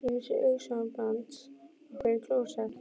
Ég minnist augnsambands okkar í klósett